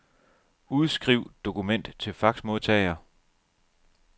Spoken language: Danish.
Udskriv dokument til faxmodtager.